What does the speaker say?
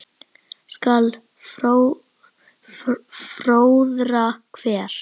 skal fróðra hver